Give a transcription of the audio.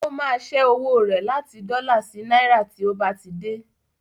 Ó máa ṣẹ́ owó rẹ̀ láti dọ́là sí náírà tí ó bá ti dé.